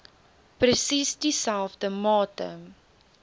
presies dieselfde mate